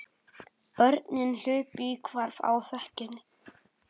Börnin hlupu í hvarf á þekjunni.